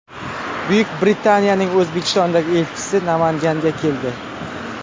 Buyuk Britaniyaning O‘zbekistondagi elchisi Namanganga keldi.